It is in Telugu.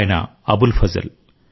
ఆయన అబుల్ ఫజల్